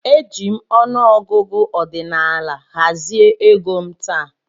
Eji m ọnụ ọgụgụ ọdinaala hazie égo m taa.